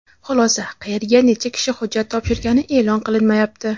Xulosa: qayerga necha kishi hujjat topshirgani e’lon qilinmayapti.